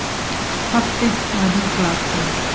Pabbi var mér glataður.